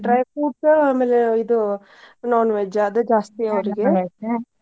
Dry fruits ಆಮೇಲೆ ಇದು non-veg ಆದೇ ಜಾಸ್ತಿ .